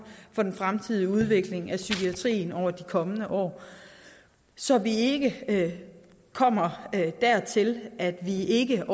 for den fremtidige udvikling af psykiatrien over de kommende år så vi ikke kommer dertil at vi ikke